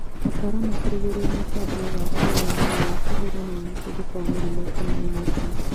Ataaramu kũrugũria mũtambo wa kĩrĩu mwerũ wa kũhũrana na mũtuthũko wa mĩrimũ kana ing'ũki